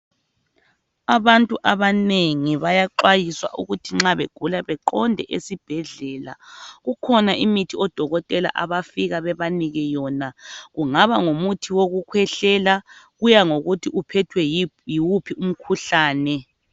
Abantu abanengi bayaxwayiswa ukuthi nxa begula beqonde ezibhedlela. Kukhona imithi odokotela abafika bebanike yona. Kungaba ngumuthi wokukhwehlela kuya ngokuthi uphethwe yini kumbe yiwuphi umkhuhlane.